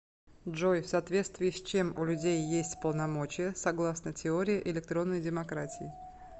джой в соответствии с чем у людей есть полномочия согласно теории электронной демократии